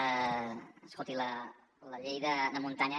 escolti la llei de muntanya